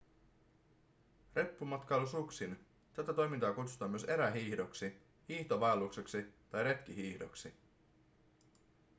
reppumatkailu suksin tätä toimintaa kutsutaan myös erähiihdoksi hiihtovaellukseksi tai retkihiihdoksi